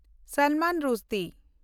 Salman Rushdie